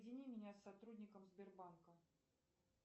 соедини меня с сотрудником сбербанка